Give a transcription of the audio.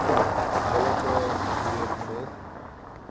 billike prosedure gevolg